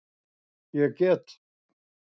Ég get.